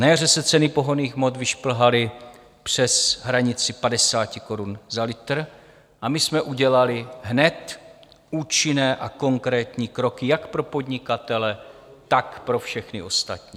Na jaře se ceny pohonných hmot vyšplhaly přes hranici 50 korun za litr a my jsme udělali hned účinné a konkrétní kroky jak pro podnikatele, tak pro všechny ostatní.